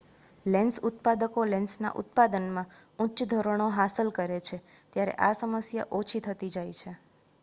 lens ઉત્પાદકો લેન્સના ઉત્પાદનમાં ઉચ્ચ ધોરણો હાંસલ કરે છે ત્યારે આ સમસ્યા ઓછી થતી જાય છે